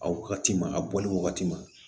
A wagati ma a bɔlen wagati ma